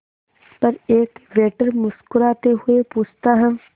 पर एक वेटर मुस्कुराते हुए पूछता है